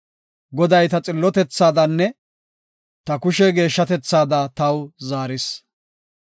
Goday ta xillotethaadanne ta kushe geeshshatethaada taw zaaris.